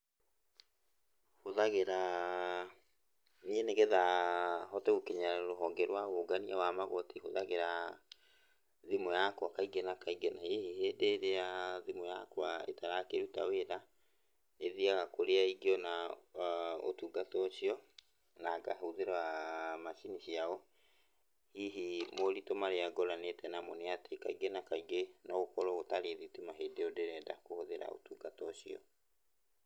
Hũthagĩraa, niĩ nĩgetha hote gũkinyĩra rũhonge rwa ũngania wa magoti hũthagĩraa, thimũ yakwa kaingĩ na kaingĩ, na hihi hĩndĩ-ĩrĩa thimũ yakwa ĩtarakĩruta wĩra, nĩthiaga kũrĩa ingĩona ũtungata ũcio na ngahũthĩra macini ciao. Hihi moritũ marĩa ngoranĩte namo nĩatĩ kaingĩ na kaingĩ no gũkorwo gũtarĩ thitima hĩndĩ ĩyo ndĩrenda kũhũthĩra ũtungata ũcio.